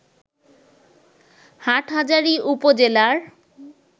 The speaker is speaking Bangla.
হাটহাজারী উপজেলার